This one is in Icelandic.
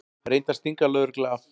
Reyndi að stinga lögreglu af